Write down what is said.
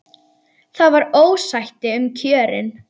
Það var ósætti um kjörin.